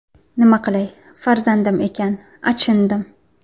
Nima qilay, farzandim ekan, achindim.